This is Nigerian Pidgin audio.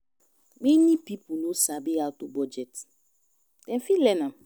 Many pipo no sabi how to bugdet, dem fit learn am